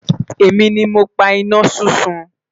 èmi ní mọ pá iná súnsun